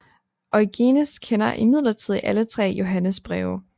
Origenes kender imidlertid alle tre Johannes breve